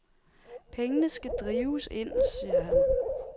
Pengene skal drives ind, siger han.